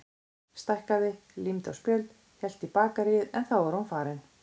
Stækkaði, límdi á spjöld, hélt í bakaríið en þá var hún farin.